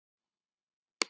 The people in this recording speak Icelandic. Hamarshjáleigu